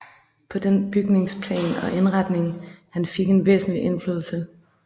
På den bygnings plan og indretning han fik en væsentlig indflydelse